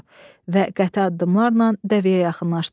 Və qəti addımlarla dəvəyə yaxınlaşdı.